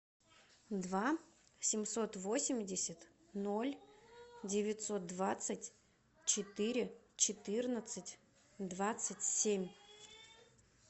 два семьсот восемьдесят ноль девятьсот двадцать четыре четырнадцать двадцать семь